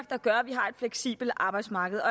der gør at vi har et fleksibelt arbejdsmarked